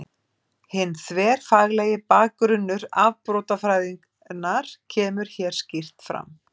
Hinn þverfaglegi bakgrunnur afbrotafræðinnar kemur hér skýrt fram.